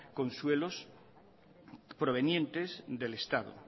con suelos provenientes del estado